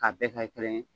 K'a bɛɛ kɛ kelen ye